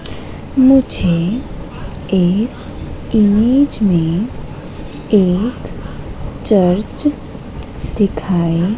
मुझे इस इमेज में एक चर्च दिखाई--